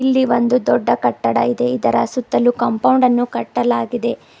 ಇಲ್ಲಿ ಒಂದು ದೊಡ್ಡ ಕಟ್ಟಡ ಇದೆ ಇದರ ಸುತ್ತಲೂ ಕಾಂಪೌಂಡ್ ಅನ್ನು ಕಟ್ಟಲಾಗಿದೆ.